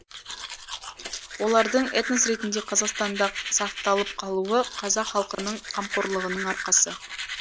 олардың этнос ретінде қазақстанда сақталып қалуы қазақ халқының қамқорлығының арқасы